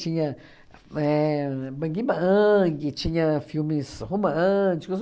Tinha éh Bang Bang, tinha filmes românticos.